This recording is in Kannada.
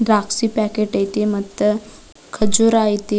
ದ್ರಾಕ್ಷಿ ಪ್ಯಾಕೆಟ್ ಐತಿ ಮತ್ತ ಖರ್ಜುರ ಐತಿ.